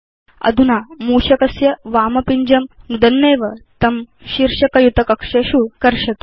अधुना मूषकस्य वामपिञ्जं नुदन्नेव तं शीर्षक युत कक्षेषु कर्षतु